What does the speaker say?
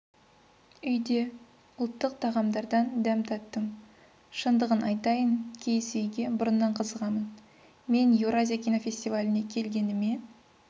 үйде ұлттық тағамдардан дәм таттым шындығын айтайын киіз үйге бұрыннан қызығамын мен еуразия кинофестиваліне келгеніме